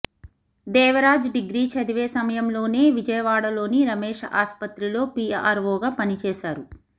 Devaraj degree చదివే సమయంలోనే విజయవాడలోని రమేష్ ఆసుపత్రిలో పీఆర్వోగా పనిచేసేవారు